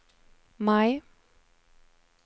Maj